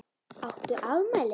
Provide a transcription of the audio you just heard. Áttu afmæli?